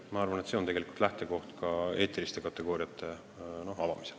Ma arvan, et see on tegelikult lähtekoht ka eetiliste kategooriate avamisel.